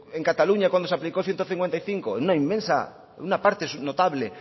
en cataluña cuando se aplicó ciento cincuenta y cinco en una parte notable